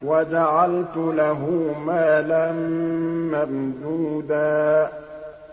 وَجَعَلْتُ لَهُ مَالًا مَّمْدُودًا